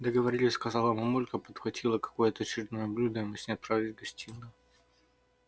договорились сказала мамулька подхватила какое-то очередное блюдо и мы с ней отправились в гостиную